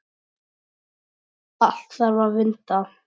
Allt þarf að vinda.